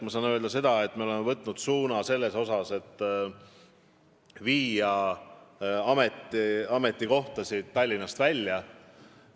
Ma saan öelda, et me oleme võtnud suuna viia ametikohtasid Tallinnast välja.